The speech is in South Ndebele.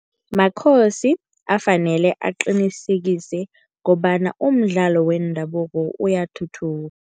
MaKhosi afanele aqinisekise kobona umdlalo wendabuko uyathuthuka.